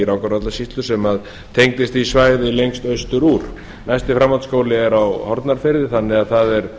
rangárvallasýslu sem tengdist því svæði lengst austur úr næsti framhaldsskóli er á hornafirði þannig að það er